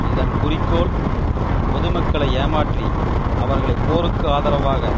இதன் குறிக்கோள் பொது மக்களை ஏமாற்றி அவர்களை போருக்கு ஆதரவாக